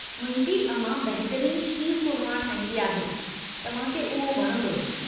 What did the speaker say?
मुंहिंजी अमां बहितरीन शीरकुरमा ठाहींदी आहे, तव्हांखे उहो वणंदो।